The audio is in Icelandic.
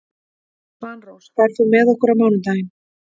Svanrós, ferð þú með okkur á mánudaginn?